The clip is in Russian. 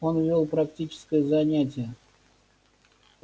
он вёл практическое занятие